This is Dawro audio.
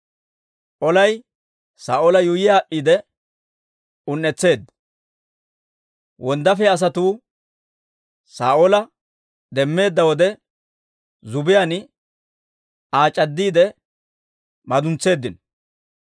Olay Saa'oola yuuyyi aad'd'iide un"etteedda; wonddaafiyaa asatuu Saa'oola demmeedda wode, zubbiyaan Aa c'addiide maduns's'iseeddino.